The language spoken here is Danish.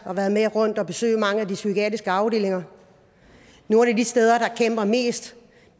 og været med rundt og besøgt mange af de psykiatriske afdelinger nogle af de steder der kæmper mest